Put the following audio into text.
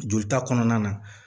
Jolita kɔnɔna na